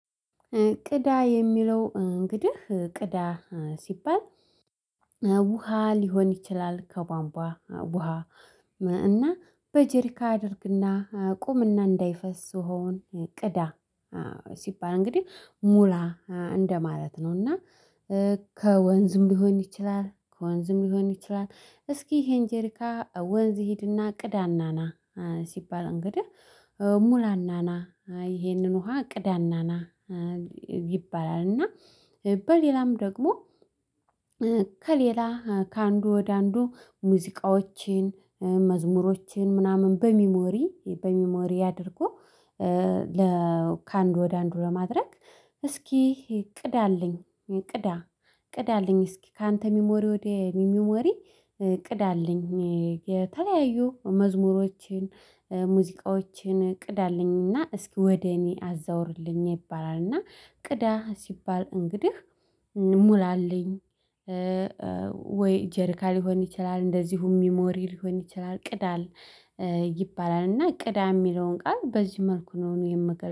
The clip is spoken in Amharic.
ቅዳ የሚለው እንግዲህ ቅዳ ሲባል ውሃ ሊሆን ይችላል ከቧንቧ ውሃ። እና በጀሪካ አድርግና ቁምና እንዳይፈስ ውሃውን ቅዳ ሲባል እንግዲህ ሙላ እንደማለት ነው። እና ከወንዝም ሊሆን ይችላል ከወንዝም ሊሆን ይችላል። እስኪ ይሄን ጄሪካ ወንዝ ሂድና ቅዳና ና ሲባል እንግዲህ ሙላና ና ይሄንን ውሃ ቅዳና ና ይባላል። እና በሌላም ደግሞ ከሌላ ከአንዱ ወደ አንዱ ሙዚቃዎችን መዝሙሮችን ምናምን በሚሞሪ በሚሞሪ አድርጎ ከአንድ ወደ አንድ ለማድረግ። እስኪ ቅዳልኝ ቅዳ ቅዳልኝ እስኪ ካንተ ሚሞሪ ወደ እኔ ሚሞሪ ቅዳልኝ። የተለያዩ መዝሙሮችን፣ ሙዚቃዎችን ቅዳልኝና እስኪ ወደ እኔ አዛውርልኝ ይባላልና ቅዳ ሲባል እንግዲህ ሙላልኝ። ወይ ጀርካ ሊሆን ይችላል እንደዚሁም ሚሞሪ ሊሆን ይችላል ቅዳል ይባላል። እና ቅዳ የሚለውን ቃል በዚህ መልኩ ነው እኔ የምገል